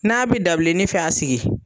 N'a bi dabileni fɛ a sigi